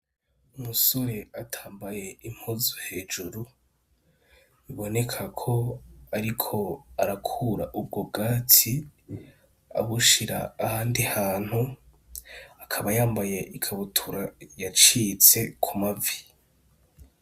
Umusore atambaye impuzu hejuru, biboneka ko ariko arakura ubwo bwatsi abushira ahandi hantu, akaba yambaye ikabutura yacitse ku mavi.